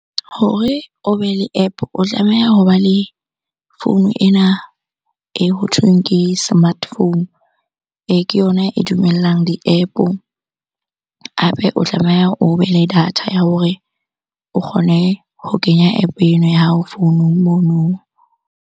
Hore o be le App-o. O tlameha hoba le founu ena e hothweng ke smartphone. Ke yona e dumellang di-App-o, hape o tlameha o be le data ya hore o kgone ho kenya App-o eno ya hao founung mono.